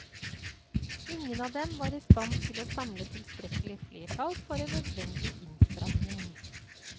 Ingen av dem var i stand til å samle tilstrekkelig flertall for en nødvendig innstramning.